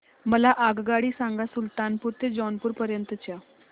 मला आगगाडी सांगा सुलतानपूर ते जौनपुर पर्यंत च्या